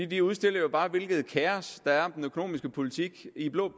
det udstiller jo bare hvilket kaos der er om den økonomiske politik i blå